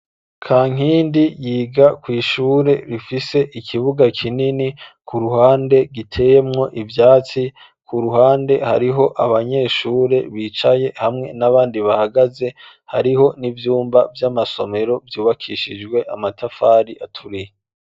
Kankindi yiga kw'ishure rifise ikibuga kinini ku ruhande giteyemwo ivyatsi ku ruhande hariho abanyeshure bicaye hamwe n'abandi bahagaze hariho n'ivyumba vy'amasomero vyubakishijwe amatafari aturiye.